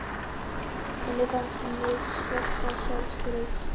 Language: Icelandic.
Henni fannst mig skorta sjálfstraust.